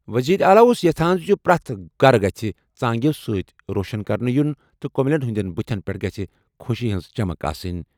وزیر اعلیٰ اوس یژھان زِ پرٛٮ۪تھ گَرٕ گَژھِ دِیو سۭتۍ روشن کرنہٕ یُن تہٕ کٔمِلین ہِنٛدِس نظرس منٛز گَژھِ خۄشی ہِنٛز چمک آسٕنۍ۔